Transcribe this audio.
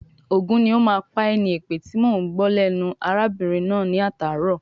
"Ògún ní o má pá ẹ̀" ni èpè tíì mọ ń gbọ́ lẹ́nu arábìnrin náà ní atàárọ̀.